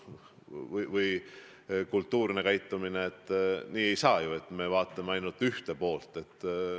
Aga nii ju ei saa, et me vaatame ainult ühte poolt.